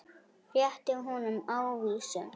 Rétti honum ávísun.